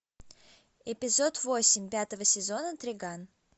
эпизод восемь пятого сезона триган